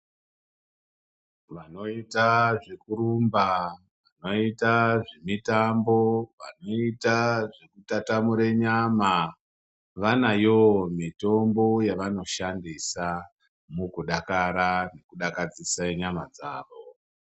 Vanoita zvekurumba, vanoita zvemitambo, vanoita zvekutatamura nyama vanayowo mitombo yavanoshandisa mukudakara nekudakadzisa nyama dzavo.